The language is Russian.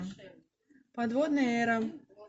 подводная эра